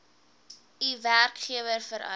u werkgewer vereis